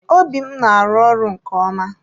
Obi m na-arụ ọrụ nke ọma.